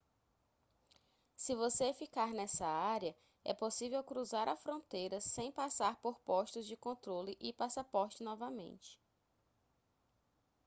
se você ficar nessa área é possível cruzar a fronteira sem passar por postos de controle de passaporte novamente